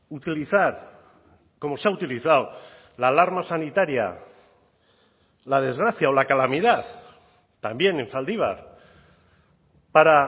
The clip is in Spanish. utilizar como se ha utilizado la alarma sanitaria la desgracia o la calamidad también en zaldibar para